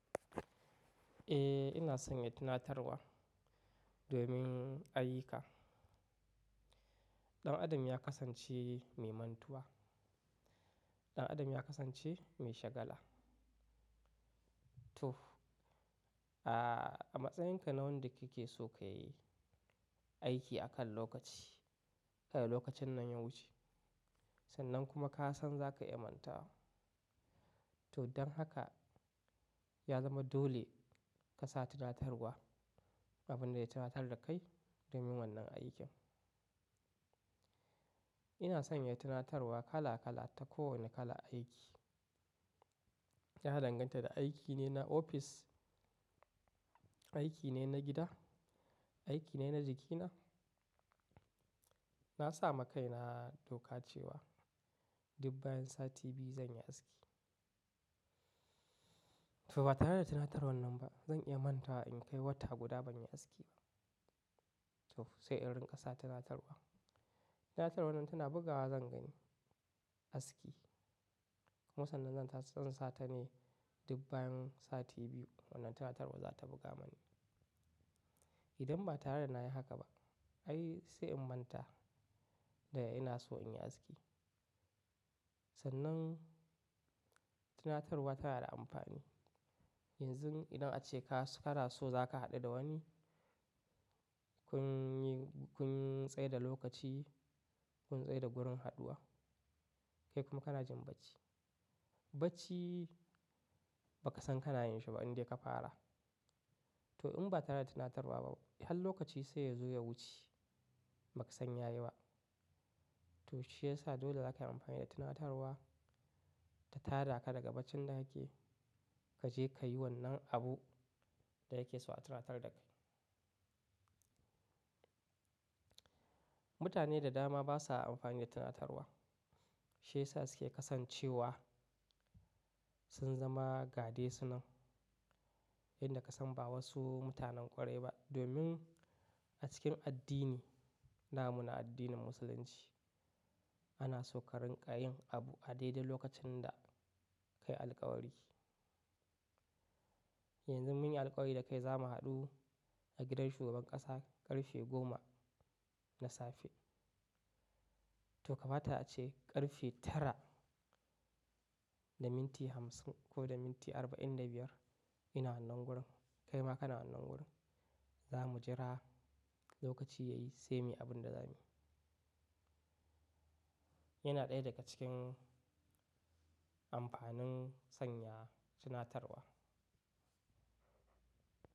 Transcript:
Eh ina sanya tunatarwa domin ayuka. Ɗan adam ya kasance mai mantuwa, ɗan adam ya kasance mai shagala. To, a matsayinka na wanda kike so ka yi aiki akan lokaci, kai lokacin nan ya wuce sannan kuma ka san zaka iya manta wa. To don haka ya zama dole ka sa tunatarwa abin da ya tunatar da kai domin wannan aikin. Ina sanya tunatarwa kala kala ta kowane kala aiki. Ya danganta da aiki ne na ofis, aiki ne na gida, aiki ne na jikina. Na sami kaina doka cewa dub bayan sati biyu zan yi aski. To ba tare da tunatarwar nan ba zan iya mantawa in kai wata guda ban yi aski ba. To sai in rinƙa sa tunatarwa. Tunatarwar nan tana bugawa zan gani aski kuma sannan zan ta zan satane dub bayan sati biyu wannan tunatarwar za ta buga mani. Idan ba tare da na yi haka ba ai sai in manta da ina so in yi aski. Sannan tunatarwa tana da amfani. Yanzu idan ace ka ka na so za ka haɗu da wani kun yi, kun tsai da lokaci, kun tsai da gurin haɗuwa kai kuma kana jin bacci. Bacci ba ka san ka na yin shi ba inda ka fara. To in ba tare da tunatarwa ba har lokaci sai ya zo ya wuce ba ka san ya yi ba. To shi ya sa dole za ka yi amfani da tunatarwa ta tada ka daga bacin da kake kaje ka yi wannan abu da kake so a tunatar da kai. Mutane da dama basa amfani da tunatarwa. Shi ya sa suke kasancewa sun zama gadesu nan yanda ka san ba wasu mutanen ƙwarai ba domin a cikin addini, na muna addinin musulunci ana so ka rinƙa yin abu a daidai lokacin da ka yi alƙawari. Yanzu mun yi alƙawari da kai za mu haɗu a gidan shugaban ƙasa ƙarfe goma na safe. To kamata ace ƙarfe tara da minti hamsin ko da minti arba'in da biyar ina wannan gurin kai ma kana wannan gurin za mu jira lokaci ya yi sai muyi abun da za mu yi. Yana ɗaya daga cikin amfanin sanya tunatarwa.